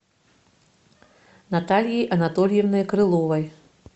натальей анатольевной крыловой